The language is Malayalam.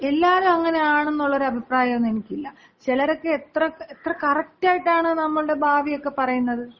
എല്ലാരും അങ്ങനാണ് എന്നുള്ള ഒരു അഭിപ്രായമൊന്നും എനിക്കില്ല. ചിലരൊക്കെ എത്ര എത്ര കറക്ടായിട്ടാണ് നമ്മളുടെ ഭാവിയൊക്കെ പറയുന്നത്?